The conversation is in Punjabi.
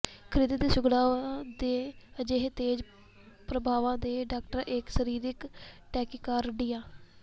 ਖਿਰਦੇ ਦੀ ਸੁੰਗੜਾਅ ਦੇ ਅਜਿਹੇ ਤੇਜ਼ ਪ੍ਰਭਾਵਾਂ ਦੇ ਡਾਕਟਰ ਇੱਕ ਸਰੀਰਕ ਟੈਕੀਕਾਰਡੀਆ